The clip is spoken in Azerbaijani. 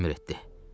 Doyl əmr etdi.